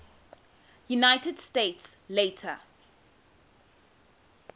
united states later